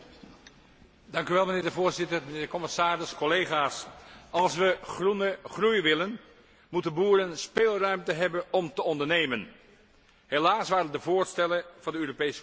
Voorzitter, commissaris, collega's, als we groene groei willen, moeten boeren speelruimte hebben om te ondernemen. Helaas waren de voorstellen van de Europese Commissie een keurslijf.